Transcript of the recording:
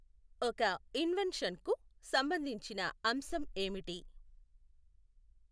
ఒక ఇన్వెన్షన్ కు సంబంధించిన అంశం ఏమిటి?